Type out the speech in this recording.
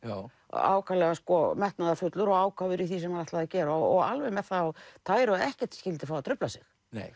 ákaflega metnaðarfullur og ákafur í því sem hann ætlaði að gera og alveg með það á tæru að ekkert skyldi fá að trufla sig